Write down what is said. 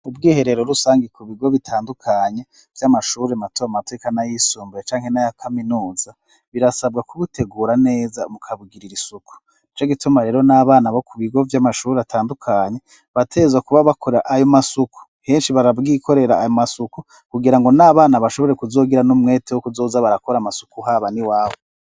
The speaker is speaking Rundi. Ubwiherero rusangi ku bigo bitandukanye vy'amashuri mato mato n'ayisumbuye canke n'aya kaminuza birasabwa kubutegura neza mu kubugirira isuku n'ico gituma rero n'abana bo ku bigo vy'amashuri atandukanye bategerezwa kuba bakora ayo masuku, henshi barabwikorera ayo masuku kugira ngo n'abana bashobore kuzogira n'umwete wo kuzoza barakora amasuku haba n'iwabo.